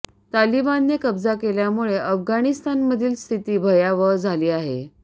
तालिबानने कब्जा केल्यामुळे अफगाणिस्तामधील स्थिती भयावह झाली आहे